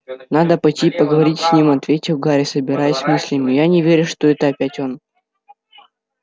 надо пойти и поговорить с ним ответил гарри собираясь с мыслями я не верю что это опять он